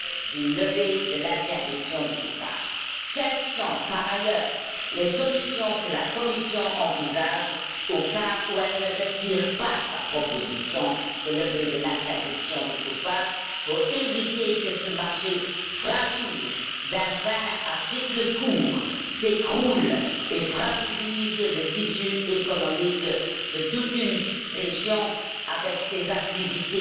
d'une levée de l'interdiction du coupage? Quelles sont, par ailleurs, les solutions que la Commission envisage au cas où elle ne retirerait pas sa proposition de levée de l'interdiction du coupage, pour éviter que ce marché fragile d'un vin à cycle court s'écroule et fragilise le tissu économique de toute une région qui développe toute une série d'activités